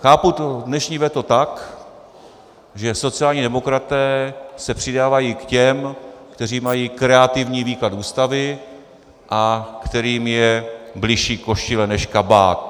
Chápu dnešní veto tak, že sociální demokraté se přidávají k těm, kteří mají kreativní výklad Ústavy a kterým je bližší košile než kabát.